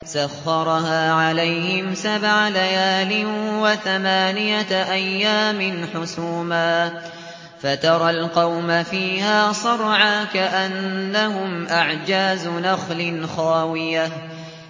سَخَّرَهَا عَلَيْهِمْ سَبْعَ لَيَالٍ وَثَمَانِيَةَ أَيَّامٍ حُسُومًا فَتَرَى الْقَوْمَ فِيهَا صَرْعَىٰ كَأَنَّهُمْ أَعْجَازُ نَخْلٍ خَاوِيَةٍ